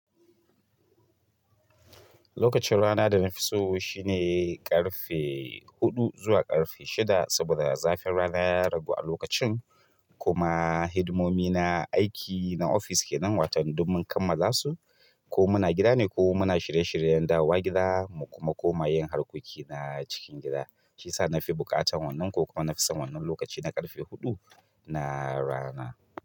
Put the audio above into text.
Lokacin rana da na fi so shi neh ƙarfe huɗu zuwa ƙarfe shida saboda zafin rana ya ragu a lokacin kuma hidimomi na aiki na ofis kenan watan duk mun kammala su ko muna gida ne ko muna shirye shiryen dawowa gida mu kuna koma yin harkoki na cikin gida. Saisa na fi buƙatar wannan ko kuma na fi son wannan lokaci na ƙarfe huɗu na rana.